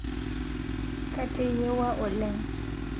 Kateyewua oleng